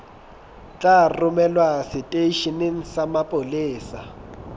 tla romelwa seteisheneng sa mapolesa